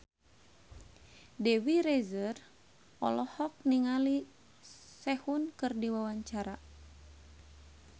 Dewi Rezer olohok ningali Sehun keur diwawancara